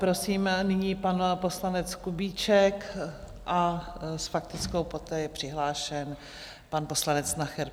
Prosím nyní pan poslanec Kubíček a s faktickou, poté je přihlášen pan poslanec Nacher.